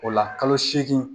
O la kalo seegin